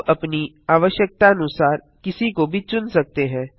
आप अपनी आवश्यकतानुसार किसी को भी चुन सकते हैं